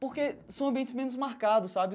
Porque são ambientes menos marcados, sabe?